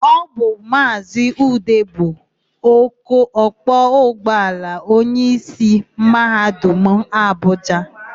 Ọ bụ Maazị Ude bụ ọkwọ ụgbọala onyeisi Mahadum Abụja.